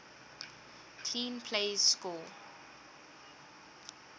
clean plays score